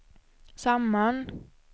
samman